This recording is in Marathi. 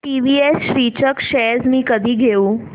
टीवीएस श्रीचक्र शेअर्स मी कधी घेऊ